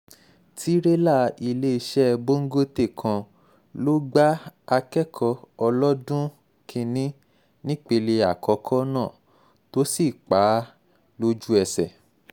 tìrẹ̀là iléeṣẹ́ bọngọtẹ̀ kan ló gba akẹ́kọ̀ọ́ ọlọ́dún kìn-ín-ní nípele àkókò náà tó sì pa á lójú-ẹsẹ̀